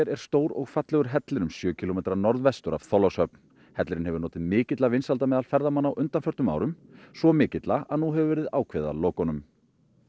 er stór og fallegur hellir um sjö kílómetra norðvestur af Þorlákshöfn hellirinn hefur notið mikilla vinsælda á meðal ferðamanna á undanförnum árum svo mikilla að nú hefur verið ákveðið að loka honum